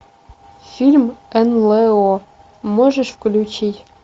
фильм нло можешь включить